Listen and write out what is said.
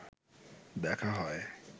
দেখা হয়